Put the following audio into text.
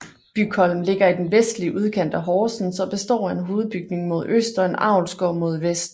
Bygholm ligger i den vestlige udkant af Horsens og består af en hovedbygning mod øst og en avlsgård mod vest